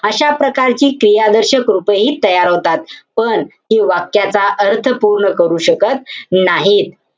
अशा प्रकारची क्रियादर्शक रूपही तयार होतात. पण, हि वाक्याची अर्थ पूर्ण करू शकत नाहीत.